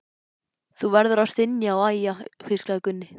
Þú verður að stynja og æja, hvíslaði Gunni.